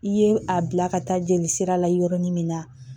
I ye a bila ka taa jeli sira la yɔrɔnin min na